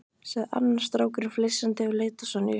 sagði annar strákurinn flissandi og leit á Sonju.